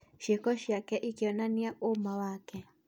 Ciĩko ciake ironani ũũma wake.